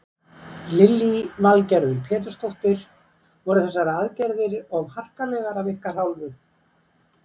Lillý Valgerður Pétursdóttir: Voru þessar aðgerðir of harkalegar af ykkar hálfu?